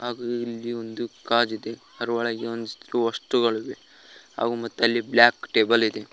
ಹಾಗು ಇಲ್ಲಿ ಒಂದು ಕಾರಿದೆ ಅದರೊಳಗೆ ಒಂದಷ್ಟು ವಸ್ತುಗಳಿವೆ ಹಾಗು ಅಲ್ಲಿ ಬ್ಲಾಕ್ ಟೇಬಲ್ ಇದೆ.